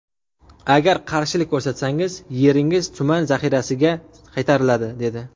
Agar qarshilik ko‘rsatsangiz, yeringiz tuman zaxirasiga qaytariladi’, dedi.